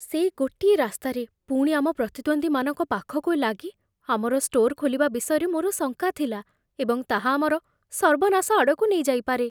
ସେଇ ଗୋଟିଏ ରାସ୍ତାରେ, ପୁଣି ଆମ ପ୍ରତିଦ୍ୱନ୍ଦ୍ୱୀମାନଙ୍କ ପାଖକୁ ଲାଗି, ଆମର ଷ୍ଟୋର୍ ଖୋଲିବା ବିଷୟରେ ମୋର ଶଙ୍କା ଥିଲା, ଏବଂ ତାହା ଆମର ସର୍ବନାଶ ଆଡ଼କୁ ନେଇଯାଇପାରେ।